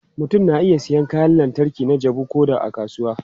Mutum na iya siyan kayan lantarki na jabu ko da a kasuwa.